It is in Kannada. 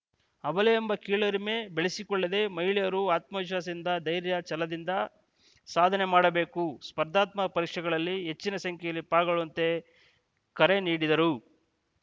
ಅಬಲೆಯೆಂಬ ಕೀಳರಿಮೆ ಬೆಳೆಸಿ ಕೊಳ್ಳದೇ ಮಹಿಳೆಯರು ಆತ್ಮವಿಶ್ವಾಸದಿಂದ ಧೈರ್ಯ ಛಲದಿಂದ ಸಾಧನೆ ಮಾಡಬೇಕು ಸ್ಪರ್ಧಾತ್ಮಕ ಪರೀಕ್ಷೆಗಳಲ್ಲಿ ಹೆಚ್ಚಿನ ಸಂಖ್ಯೆಯಲ್ಲಿ ಪಾಲ್ಗೊಳ್ಳುವಂತೆ ಕರೆ ನೀಡಿದರು